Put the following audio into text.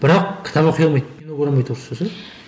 бірақ кітап оқи алмайды кино көре алмайды орысша ше